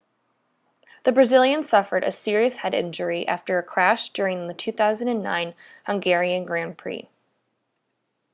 the brazilian suffered a serious head injury after a crash during the 2009 hungarian grand prix